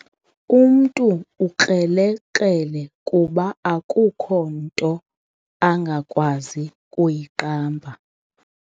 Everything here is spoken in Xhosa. Umntu ukrelekrele kuba akukho nto angakwazi kuyiqamba.